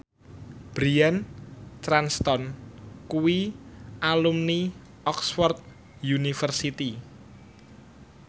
Bryan Cranston kuwi alumni Oxford university